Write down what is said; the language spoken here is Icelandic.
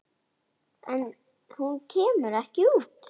En hún kemur ekki út.